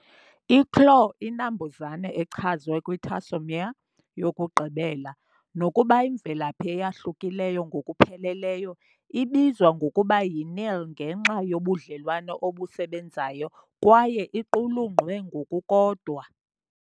i-claw inambuzane echazwe kwi-tarsomere yokugqibela, nokuba imvelaphi eyahlukileyo ngokupheleleyo, ibizwa ngokuba yi-nail ngenxa yobudlelwane obusebenzayo, kwaye iqulunqwe ngokukodwa.